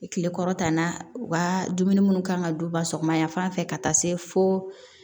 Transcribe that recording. Kile kɔrɔ tan na u ka dumuni minnu kan ka don ba sɔgɔma yan fan fɛ ka taa se fo